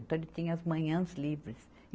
Então, ele tinha as manhãs livres.